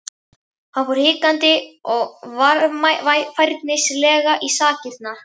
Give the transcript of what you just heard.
Hann fór hikandi og varfærnislega í sakirnar.